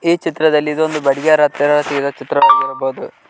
ಈ ಚಿತ್ರದಲ್ಲಿ ಇದು ಒಂದು ಬಂಜಾರ ಆಗಿರುವ ಚಿತ್ರ ಆಗಿರಬಹುದು.